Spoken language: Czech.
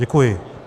Děkuji.